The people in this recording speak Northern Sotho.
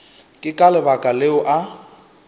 ke ka lebaka leo a